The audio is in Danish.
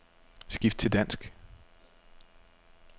Skift til dansk.